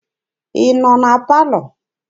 Ị nọ na palọ?